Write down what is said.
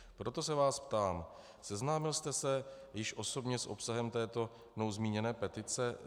Proto se vás ptám: Seznámil jste se již osobně s obsahem této mnou zmíněné petice?